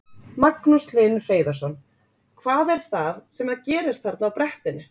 Magnús Hlynur Hreiðarsson: Hvað er það sem að gerist þarna á brettinu?